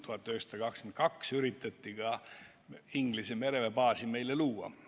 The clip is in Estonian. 1922. aastal üritati Inglise mereväebaasi Eestis luua.